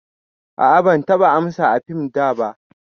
A'a ban taɓa amsa a fim daba.